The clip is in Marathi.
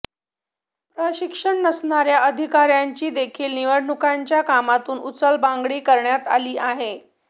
प्रशिक्षण नसणाऱ्या अधिकाऱ्यांची देखील निवडणुकीच्या कामातून उचलबांगडी करण्यात आली आहे